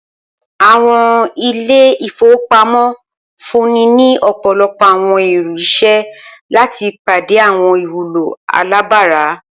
Awọn ile-ifowopamọ nfunni ni ọpọlọpọ awọn iru iṣẹ lati pade awọn iwulo alabara.